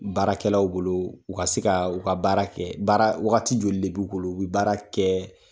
Baarakɛlaw bolo u ka se ka u ka baara kɛ baara wagati joli de b'u bolo u bi baara kɛ.